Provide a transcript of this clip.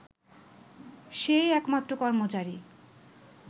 সে-ই একমাত্র কর্মচারী